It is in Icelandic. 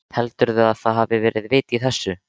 Heldurðu að það hafi verið vit í þessu?